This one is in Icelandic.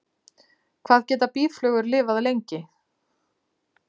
Hvað geta býflugur lifað lengi?